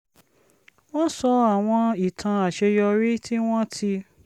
wọ́n sọ àwọn ìtàn àṣeyọrí tí wọ́n ti